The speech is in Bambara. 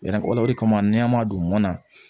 o de kama n'an y'a don mana